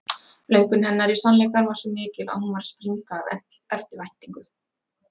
Löngun hennar í sannleikann var svo mikil að hún var að springa af eftirvæntingu.